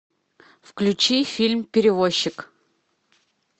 включи фильм перевозчик